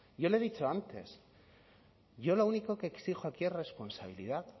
yo le he dicho antes yo lo único que exijo aquí es responsabilidad